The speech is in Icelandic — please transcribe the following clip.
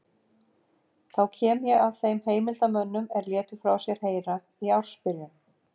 Þá kem ég að þeim heimildarmönnum er létu frá sér heyra í ársbyrjun